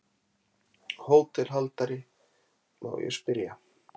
HÓTELHALDARI: Má ég spyrja?